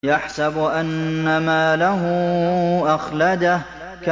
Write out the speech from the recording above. يَحْسَبُ أَنَّ مَالَهُ أَخْلَدَهُ